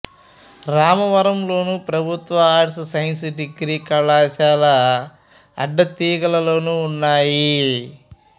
రామవరంలోను ప్రభుత్వ arts science degree కళాశాల అడ్డతీగలలోనూ ఉన్నాయి